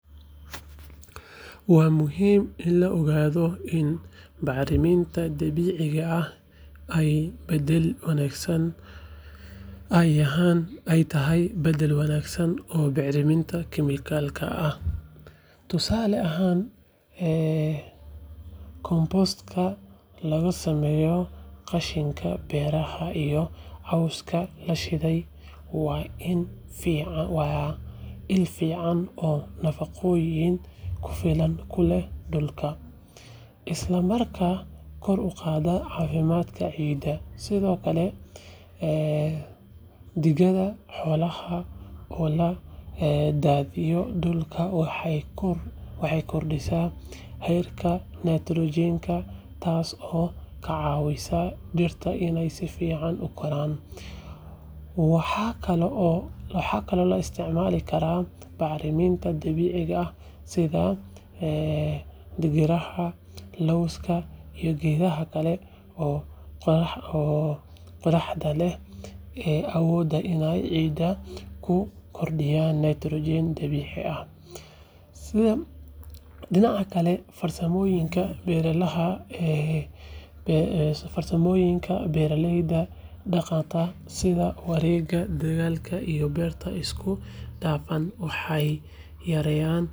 Waa muhiim In la ogadho baxriminta dabiciga ah ee badal wanagsan ee tahay oo bicriminta kemikalka ah tusale ahan ee compost ka qashinka beeraha coska lashiday waa in fican oo nafaqoyin kufilan leh, sithokale ee digadha xolaha waxee kordisa nitrogen ka kacawisa dirta in ee si wacan ukoran, dinaca kale farsamooyinka beera laha ee farsamooyinka beera leyda daqanka sidha warega iyo beerta waxee yareyan.